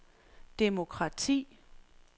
demokrati